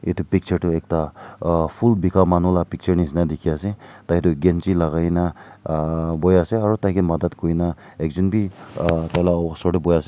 etu picture toh ekta phool bika manu la picture nishena dikhi ase tai toh ganchi lagai kena ah buhi ase aru taike madad kurikena ekjun bi ah tai la osor te buhi ase.